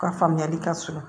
U ka faamuyali ka sɔrɔ